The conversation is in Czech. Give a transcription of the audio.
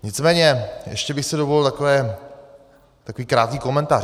Nicméně ještě bych si dovolil takový krátký komentář.